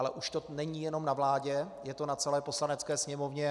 Ale už to není jenom na vládě, je to na celé Poslanecké sněmovně.